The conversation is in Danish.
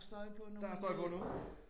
Der er støj på nu